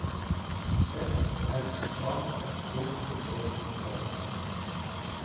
S M A K E R